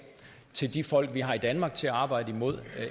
til de folk vi har i danmark til at arbejde mod